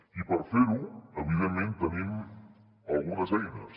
i per fer ho evidentment tenim algunes eines